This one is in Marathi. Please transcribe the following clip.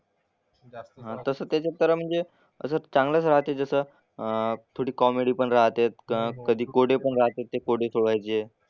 हां तसं त्याच्यात तर म्हणजे असं चांगलंच राहते जसं अह थोडी कॉमेडी पण राहतेत, कधी कोडे पण राहतेत ते कोडे सोडवायचे.